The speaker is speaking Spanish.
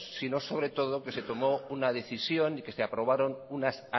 sino sobre todo que se tomó una decisión y que se aprobaron unas